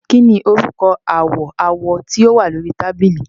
Kí ni orúkọ àwọ̀ awọ tó wà ní orí tábìlì?